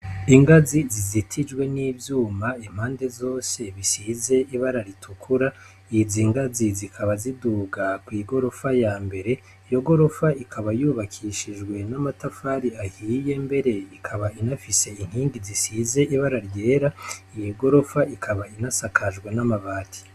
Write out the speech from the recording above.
Ingazi zizitijwe n'ivyuma impande zose bisize ibara ritukura, izi ngazi zikaba ziduga kw'igorofa yambere, iyo gorofa ikaba yubakishijwe n'amatafari ahiye mbere ikaba inafise inkingi zisize ibara ryera, iyi gorofa ikaba inasakajwe n'amabati.